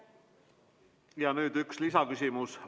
Ja nüüd üks lisaküsimus.